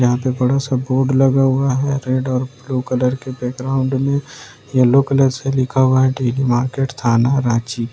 यहां पे बड़ा सा बोर्ड लगा हुआ है रेड और ब्लू कलर के बैकग्राउंड में येलो कलर से लिखा हुआ है डेलिमार्केट थाना रांची।